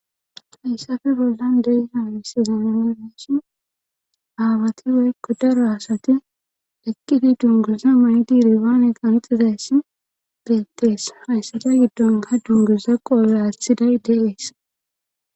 hayssafe boldan dey haamisi zameno meesi aabati weykkodaro asati eqqiti dungosa maydi ribaane qanxizas deettees hayssada giddonka dungosa qoolraathiday deees